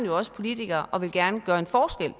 jo også politiker og man vil gerne gøre en forskel